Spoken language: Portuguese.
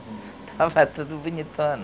Tava saindo tudo bonitona.